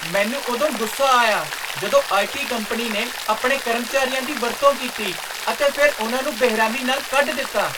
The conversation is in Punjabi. ਮੈਨੂੰ ਉਦੋਂ ਗੁੱਸਾ ਆਇਆ ਜਦੋਂ ਆਈ.ਟੀ. ਕੰਪਨੀ ਨੇ ਆਪਣੇ ਕਰਮਚਾਰੀਆਂ ਦੀ ਵਰਤੋਂ ਕੀਤੀ ਅਤੇ ਫਿਰ ਉਨ੍ਹਾਂ ਨੂੰ ਬੇਰਹਿਮੀ ਨਾਲ ਕੱਢ ਦਿੱਤਾ।